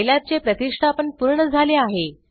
सिलाब चे प्रतिष्ठापन पूर्ण झाले आहे